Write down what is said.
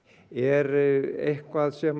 er eitthvað sem